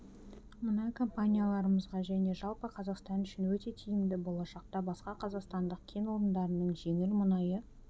мұнай компанияларымызға және жалпы қазақстан үшін өте тиімді болашақта басқа қазақстандық кен орындарының жеңіл мұнайы